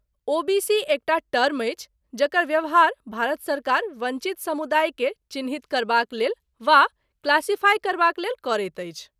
OBC एकटा term अछि जकर व्यवहार भारत सरकार वंचित समुदाय के चिह्नित करबाक लेल वा क्लासीफाइ करबाक लेल करैत अछि।